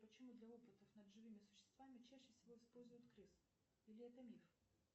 почему для опытов над живыми существами чаще всего используют крыс или это миф